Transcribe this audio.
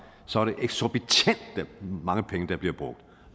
så er det eksorbitant mange penge der bliver brugt